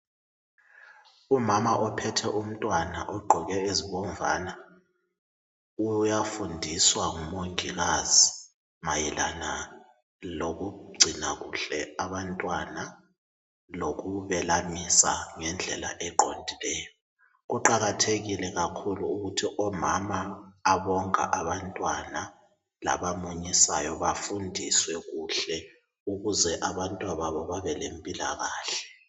umama ophethe umntwana ogqoke ezibomvana uyafundiswa ngu mongikazi mayelana lokugcina kuhle abantwana lokubelamisa ngendlela eqondileyo kuqakathekile kakhulu ukuthi omama abonga abantwana laba munyisayo bafundiswe kuhle ukuze abantwana babo babelempilakhle